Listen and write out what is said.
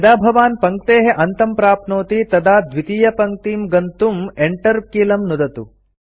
यदा भवान् पङ्क्तेः अन्तं प्राप्नोति तदा द्वितीयपङ्क्तिं गन्तुं Enter कीलं नुदतु